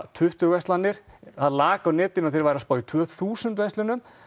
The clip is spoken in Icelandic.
tuttugu verslanir það lag á netinu að þeir væru að spá í tvö þúsund verslunum